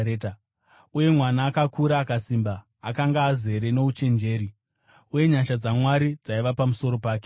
Uye mwana akakura akasimba; akanga azere nouchenjeri, uye nyasha dzaMwari dzaiva pamusoro pake.